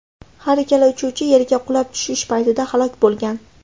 Har ikkala uchuvchi yerga qulab tushish paytida halok bo‘lgan.